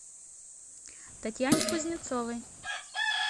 татьяне кузнецовой